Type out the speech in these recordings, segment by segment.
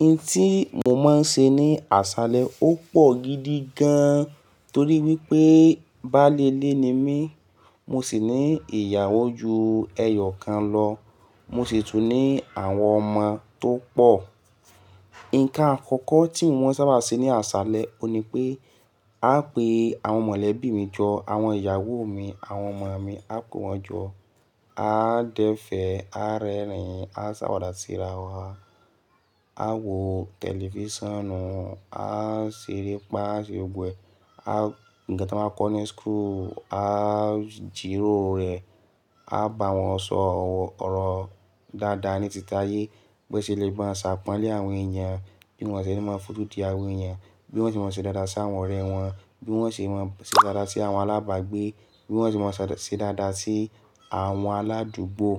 I tí mo máa ń ṣe ní àṣálẹ́ ó pọ̀ gidi gan-an torí wípé bá lélé ni mí, mo sì ní ìyàwó ju ẹyọ̀kan lọ, mo sì tún ní àwọn ọmọ tó pọ̀. Ǹkan àkọ́kọ́ tí wọ́n sábà ṣe ní àṣálẹ́, òní pé a pè àwọn mọ̀lẹ́bí mi jọ, àwọn ìyàwó mi, àwọn ọmọ mi, a pé wọ́n jọ. A dẹfẹ̀, a rẹ́rìn-ín, a ṣàwàdà síra wa, a wo tẹlifíṣànù, a ṣeré pá, a ṣeré gbẹ̀, a ǹjẹ́ tí wọ́n máa kọ ní school, a jìrò rẹ̀, a bá wọn sọ ọ̀rọ̀ dáadáa ní títí ayé, bí wọ́n ṣe lè gba àṣà pọ̀ńlẹ́ àwọn èèyàn, bí wọ́n ṣe lè máa fòótì àwọn èèyàn, bí wọ́n ṣe máa ṣe dáadáa sí àwọn ọ̀rẹ́ wọn, bí wọ́n ṣe máa ṣe dáadáa sí àwọn alábàgbé, bí wọ́n ṣe máa ṣe dáadáa sí àwọn aládùúgbò,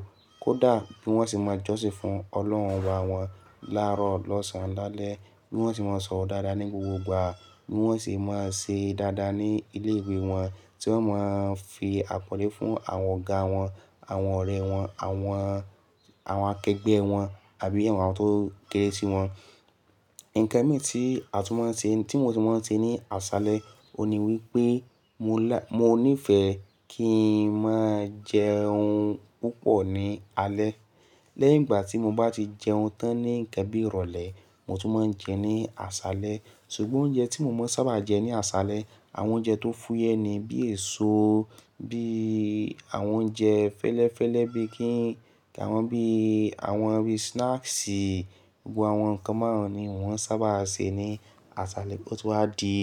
kó dà bí wọ́n ṣe máa jọ́sìn fún Ọlọ́runra wọn láàárọ̀, lọ́sàn-án lálẹ́, bí wọ́n ṣe máa sọ̀rọ̀ dáadáa ní gbogbo ìgbà, bí wọ́n ṣe máa ṣe dáadáa ní ilé ìwé wọn, tí wọ́n máa ń fi àpọ̀nlé fún àwọn ọ̀gá wọn, àwọn ọ̀rẹ́ wọn, àwọn, àwọn akẹgbẹ́ wọn àbí àwọn tó kéré sí wọn. Ǹkan mìíràn tí a tún máa ń ṣe, tí mo tún máa ń ṣe ní àṣálẹ́, òní wípé mo lá-- mo níìfẹ̀ kí ń máa jẹ ohun púpọ̀ ní alẹ́. Lẹ́yìn ìgbà tí mo bá ti jẹ ohun tán ní ìkẹbí ìrọ̀lẹ́, mo tún máa ń jẹ ní àṣálẹ́. Sugbọn oúnjẹ tí mo máa ń sábà jẹ ní àṣálẹ́, àwọn oúnjẹ tó fúyẹ́ ni bí èso, bí àwọn oúnjẹ fẹ́lẹ́fẹ́lẹ́ bí kí-- kí àwọn bí àwọn orí snacks, gbogbo àwọn nǹkan márùn-ún ni wọ́n sábà ṣe ní àṣálẹ́, ó tún wá di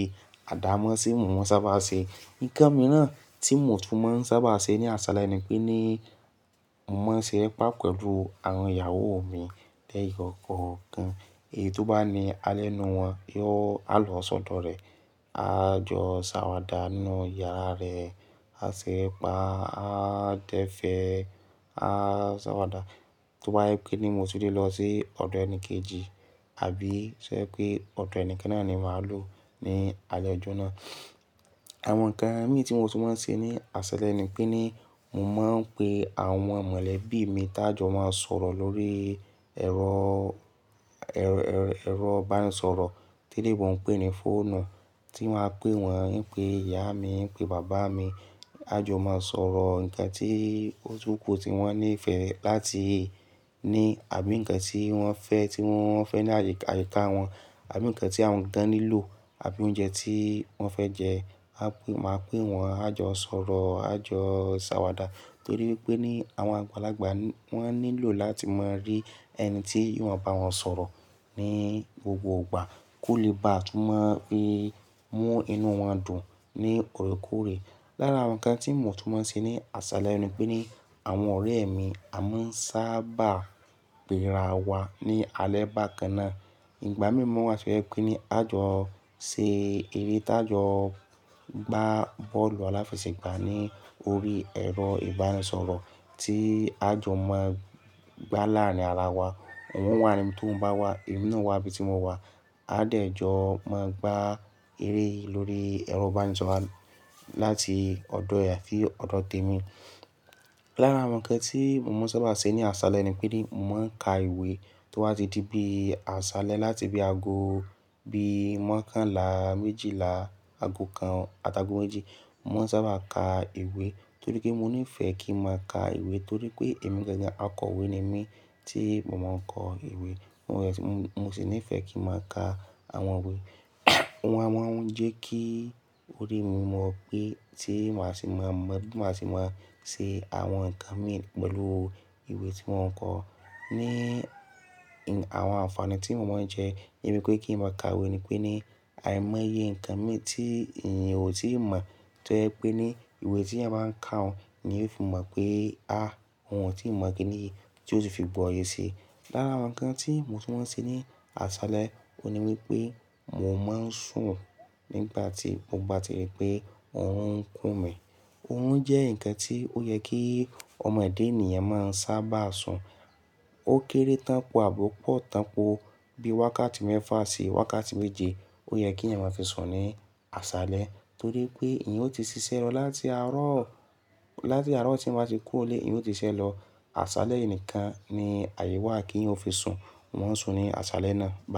àdámọ́ tí mò ń sábà ṣe. Ǹkan mìíràn tí mò tún máa ń sábà ṣe ní àṣálẹ́ ni pé ní mò máa ń ṣeré pá pẹ̀lú àwọn ìyàwó mi lẹ́yọ̀ ọ̀kọ̀ọ̀kan. Èyí tó bá ní alẹ́ inú wọn, yóò-- a lọ sọ́dọ̀ rẹ, a jọ ṣàwàdà nínú yàrá rẹ̀, a ṣeré pá, a dẹfẹ̀, a ṣàwàdà. Tó bá yẹ pé ní mo ti lè lọ sí ọ̀dọ̀ ẹni kejì, àbí ṣé pé ọ̀dọ̀ ẹni kan náà ni màá lò ní alẹ́ ọjọ́ náà. Àwọn ǹkan mìíràn tí mo tún máa ń ṣe ní àṣálẹ́ ni pé ní mò máa ń pe àwọn mọ̀lẹ́bí mi tá jọ máa ń sọ̀rọ̀ lórí ẹ̀rọ, ẹ̀rọ, ẹ̀rọ ìbánisọ̀rọ̀. Tele yin bọ̀ ń pè ní fóònù. Ti wọ́n á pè wọ́n, ń pè ìyá mi, ń pè bàbá mi. A jọ máa ń sọ̀rọ̀ ǹkan tí ó túkù tí wọ́n níìfẹ̀ láti ní àbí ǹkan tí wọ́n fẹ́, tí wọ́n fẹ́ ní àyíká wọn, àbí ǹkan tí àwọn tán nílò, àbí oúnjẹ tí wọ́n fẹ́ jẹ. A pè, màá pè wọ́n, a jọ sọ̀rọ̀, a jọ ṣàwàdà torí wípé ní àwọn àgbàlagbà wọ́n nílò láti máa rí ẹni tí wọn bá sọ̀rọ̀ ní gbogbo ìgbà kó lè bá a tún máa fi mú inú wọn dùn ní òkúróòkúre. Lára àwọn ǹkan tí mò tún máa ń ṣe ní àṣálẹ́ ni pé ní àwọn ọ̀rẹ́ mi, a máa ń sábà bẹ̀ra wa ní alẹ́ bá kan náà. Ìgbà mìíràn wá ṣe yẹ pé ní a jọ ṣe eré tí a jọ gbá bọ́ọ̀lù aláfẹsẹ̀gbá ní orí ẹ̀rọ ìbánisọ̀rọ̀ tí a jọ máa gbá láàrin ara wa. Òun wà níbí tó ń bá wà, èmi náà wà ibi tí mo wà. A dẹ̀ jọ máa ń gbá eré lórí ẹ̀rọ ìbánisọ̀rọ̀ láti ọ̀dọ̀ ẹ̀yà fí ọ̀dọ̀ tèmi. Lára àwọn ǹkan tí mò máa ń sábà ṣe ní àṣálẹ́ ni pé ní mò máa ń ka ìwé tó wá ti di bí àṣálẹ́ láti bí aago bí i márùn-ún kan là, méjìlá, aago kan àti aago méjì. Mo máa ń sábà ka ìwé torí pé mo níìfẹ̀ kí ń máa ka ìwé torí pé èmi gẹ́gẹ́ akọ̀wé ni mí tí mò máa ń kọ ìwé. Mo sì níìfẹ̀ kí ń máa ka àwọn ìwé. Àwọn, àwọn ń jẹ́ kí orí mi mọ̀ pé tí màá sì máa mọ̀, tí màá sì máa ṣe àwọn ǹkan mìíràn pẹ̀lú ìwé tí mò ń kọ. Ní àwọn àǹfààní tí mò máa ń jẹ, ìmú pé kí ń máa ka ìwé ni pé ní à ń mọ iyè ǹkan méjì tí èèyàn kò tíì mọ̀ tó yẹ pé ní ìwé tí ẹ máa ń ka òun ni yóò fi mọ̀ pé, "A! Òun ò tíì mọ̀ kíni yìí tí ó ti fi bọ oyè sí i." Lára àwọn ǹkan tí mò tún máa ń ṣe ní àṣálẹ́ òní wípé mò máa ń sùn nígbà tí, mo bá ti rí pé ọ̀rún ń kú mi. Òórùn jẹ́ ǹkan tí ó yẹ kí ọmọ èdè ènìyàn máa ń sábà sùn. Ó kéré tánpọ̀ àbo pọ̀ tánpọ̀ bí i wákàtí mẹ́fà sí wákàtí méje ó yẹ kí ẹ̀yin máa fi sùn ní àṣálẹ́ torí pé ẹ̀yin ó ti ṣiṣẹ́ lọ láti àárọ̀, láti àárọ̀ tí ẹ̀yin bá ti kú ó lé ẹ̀yin ó ti ṣiṣẹ́ lọ. Àṣálẹ́ nìkan ni àyè wà kí ẹ̀yin ó fi sùn. Wọn ń sùn ní àṣálẹ́ náà.